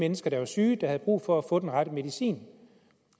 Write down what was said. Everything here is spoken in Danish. mennesker der var syge og havde brug for at få den rette medicin